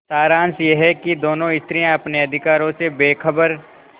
सारांश यह कि दोनों स्त्रियॉँ अपने अधिकारों से बेखबर